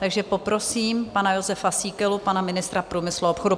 Takže poprosím pana Jozefa Síkelu, pana ministra průmyslu a obchodu.